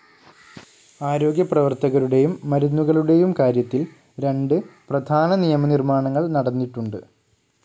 ആരോഗ്യപ്രവർത്തകരുടെയും മരുന്നുകളുടെയും കാര്യത്തിൽ രണ്ട് പ്രധാന നിയമനിർമ്മാണങ്ങൾ നടന്നിട്ടുണ്ട്.